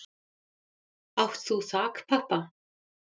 Átt þú þakpappa?